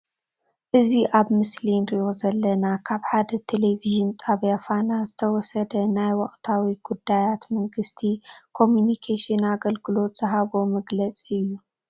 እዚ ኣብ ምስሊ እንሪኦ ዘለና ካብ ሓደ ቴሊቭዥን ጣብያ ፋና ዝተወሰደ ናይ ወቅታዊ ጉዳያት መንግስቲ ኮሙኒኬሽን ኣገልግሎት ዝሃቦ መግለጺ እዩ።